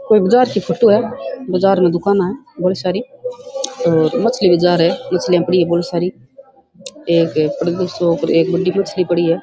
कोई बाजार की फोटो है बाजार में दुकाना है बौली सारी और मछली बाजार है मछलिया पड़ी है बौली सारी एक सो क एक बढ़ी मछली पड़ी है।